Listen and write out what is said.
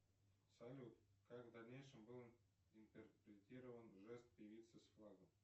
салют как в дальнейшем был интерпретирован жест певицы с флагом